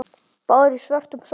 Báðar í svörtum sokkum.